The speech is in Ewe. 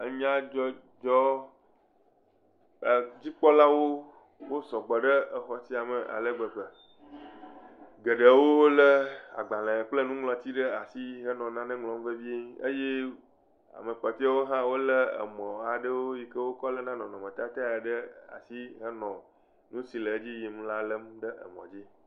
Nyadzɔdzɔ dzikpɔlawo sɔgbɔ ɖe xɔ sia me ale gbegbe. Geɖewo lé agbalẽ kple nuŋlɔti ɖe asi hele nane ŋlɔm vevie eye ame kpɔtɔewo hã wole emɔ aɖewo yi ke wokɔ léa nɔnɔmetatae ɖe asi henɔ nu si nɔ dzi yim la lém ɖe mɔ dzi.